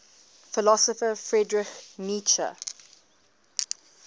philosopher friedrich nietzsche